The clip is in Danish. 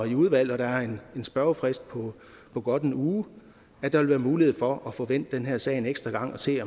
i udvalget og der er en spørgefrist på godt en uge vil være mulighed for at få vendt den her sag en ekstra gang og se